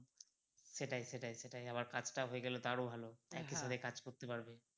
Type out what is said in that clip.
সেটাই সেটাই সেটাই আমার কাজ টাও হয়ে গেলে তো আরও ভালো একসাথে কাজ করতে পারবে